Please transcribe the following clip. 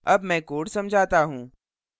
अब मैं code समझाता हूँ